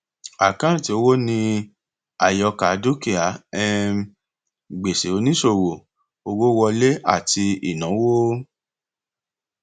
àkáǹtì owó ni àyọkà dúkìá um gbèsè oníṣòwò owó wọlé àti ìnáwó